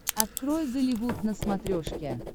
открой голливуд на смотрешке